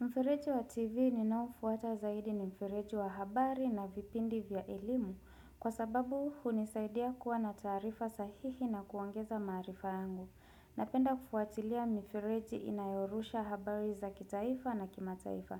Mfereji wa TV ninaofuata zaidi ni mfereji wa habari na vipindi vya elimu kwa sababu hunisaidia kuwa na taarifa sahihi na kuongeza maarifa yangu. Napenda kufuatilia mifereji inayorusha habari za kitaifa na kimataifa.